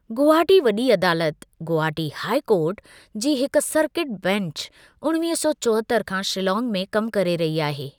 गुवाहाटी वॾी अदालतु ( Guwahati high court )जी हिकु सर्किट बेंच उणिवीह सौ चोहतरि खां शिल्लाँग में कमु करे रही आहे।.